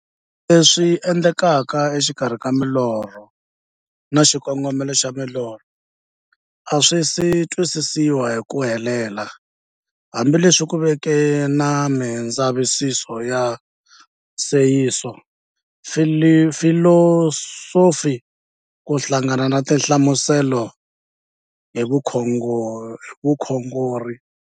Leswi endlekaka e xikarhi ka milorho na xikongomelo xa milorho a swisi twisisiwa hi ku helela, hambi leswi ku veke na mindzavisiso ya sayensi, filosofi ku hlanganisa na tinhlamuselo hi vukhongori.